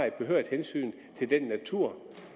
et behørigt hensyn til den natur